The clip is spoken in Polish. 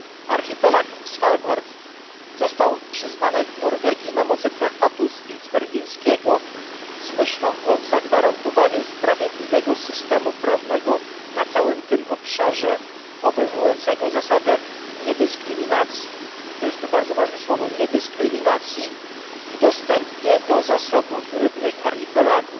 Archipelag Svalbard został przyznany Norwegii na mocy Traktatu Spitsbergeńskiego z myślą o zagwarantowaniu sprawiedliwego systemu prawnego na całym tym obszarze obejmującego zasadę niedyskryminacji to jest to bardzo ważne słowo w dostępie do zasobów rybnych archipelagu.